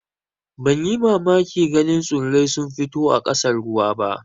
Ban yi mamakin ganin tsurrai sun fito a ƙasan ruwa ba.